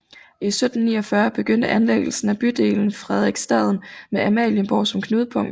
I 1749 begyndte anlæggelsen af bydelen Frederiksstaden med Amalienborg som knudepunkt